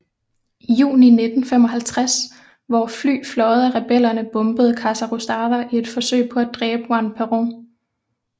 Juni 1955 hvor fly fløjet af rebellerne bombede Casa Rosada i et forsøg på at dræbe Juan Perón